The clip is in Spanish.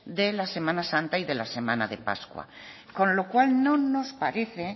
de la semana santa y la semana de pascua con lo cual no nos parece